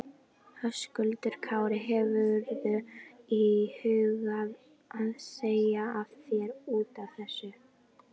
Höskuldur Kári: Hefurðu íhugað að segja af þér útaf þessu?